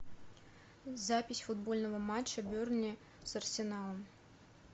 запись футбольного матча бернли с арсеналом